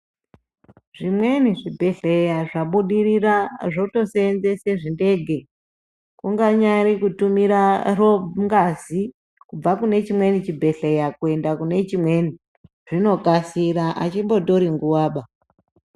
Zvimweni zvibhedhleya zvabudirira zvotoseenzese zvidege kunyangari kutumira ngazi kubva kunechimweni chibhedhleya kuenda kunechimweni zvinokasira azvimbotori nguva ba.